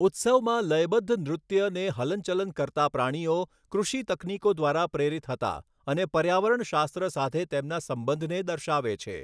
ઉત્સવમાં લયબદ્ધ નૃત્ય ને હલનચલન કરતા પ્રાણીઓ, કૃષિ તકનીકો દ્વારા પ્રેરિત હતા અને પર્યાવરણશાસ્ત્ર સાથે તેમના સંબંધને દર્શાવે છે.